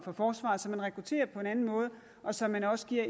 for forsvaret så man rekrutterer på en anden måde og så man også giver